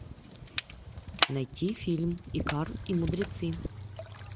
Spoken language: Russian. найти фильм икар и мудрецы